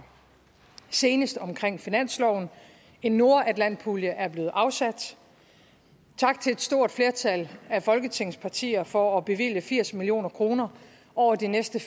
senest omkring finansloven en nordatlantpulje er blevet afsat tak til et stort flertal af folketingets partier for at bevilge firs million kroner over de næste